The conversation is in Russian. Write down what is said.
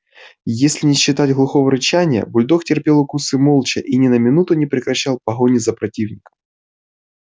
если не считать глухого рычания бульдог терпел укусы молча и ни на минуту не прекращал погони за противником